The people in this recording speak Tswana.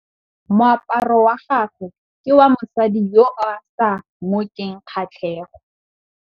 Moaparô wa gagwe ke wa mosadi yo o sa ngôkeng kgatlhegô.